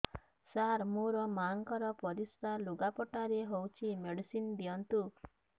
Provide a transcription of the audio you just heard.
ସାର ମୋର ମାଆଙ୍କର ପରିସ୍ରା ଲୁଗାପଟା ରେ ହଉଚି ମେଡିସିନ ଦିଅନ୍ତୁ